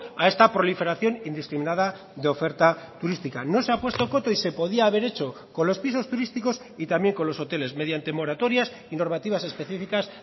a esta proliferación indiscriminada de oferta turística no se ha puesto coto y se podía haber hecho con los pisos turísticos y también con los hoteles mediante moratorias y normativas específicas